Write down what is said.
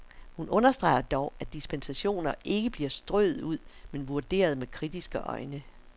Hun understreger dog, at dispensationer ikke bliver strøet ud, men vurderet med kritiske øjne.